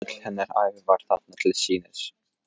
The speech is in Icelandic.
Öll hennar ævi var þarna til sýnis.